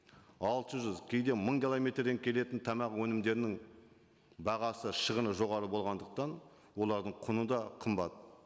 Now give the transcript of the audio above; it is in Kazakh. алты жүз кейде мың километрден келетін тамақ өнімдерінің бағасы шығыны жоғары болғандықтан олардың құны да қымбат